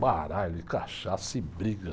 Baralho e cachaça e briga.